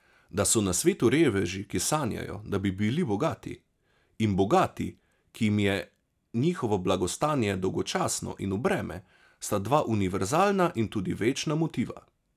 Da so na svetu reveži, ki sanjajo, da bi bili bogati, in bogati, ki jim je njihovo blagostanje dolgočasno in v breme, sta dva univerzalna in tudi večna motiva.